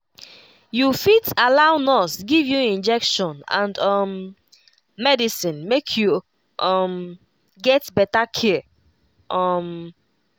you fit allow nurse give you injection and um medicine make you um get better care um